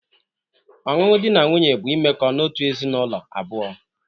Ọṅụṅụ dị na nwunye bụ imeko n'otu ezinaụlọ abụọ.